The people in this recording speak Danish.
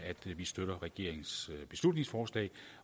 at vi støtter regeringens beslutningsforslag